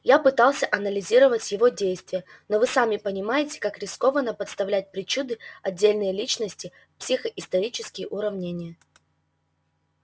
я пытался анализировать его действия но вы сами понимаете как рискованно подставлять причуды отдельной личности в психоисторические уравнения